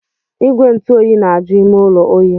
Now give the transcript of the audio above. Igwe ntụ oyi na-aju ime ụlọ oyi.